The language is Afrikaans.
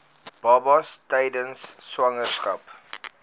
babas tydens swangerskap